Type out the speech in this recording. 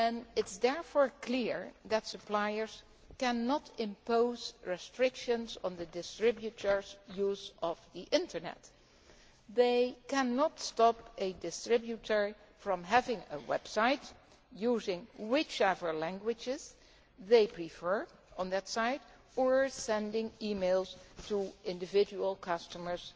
It is therefore clear that suppliers cannot impose restrictions on the distributors' use of the Internet they cannot stop a distributor from having a web site, using whichever languages they prefer on that site, or sending e mails to individual customers